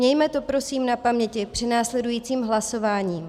Mějme to prosím na paměti při následujícím hlasování.